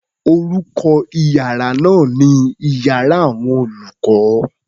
Orúkọ iyàrá náà ni iyàrá àwọn olùkó.